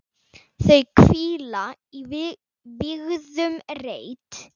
Þau hvíla í vígðum reit.